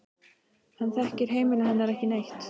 Hann þekkir heimili hennar ekki neitt.